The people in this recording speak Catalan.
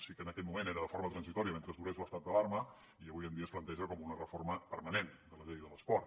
sí que en aquell moment era de forma transitòria mentre durés l’estat d’alarma i avui en dia es planteja com una reforma permanent de la llei de l’esport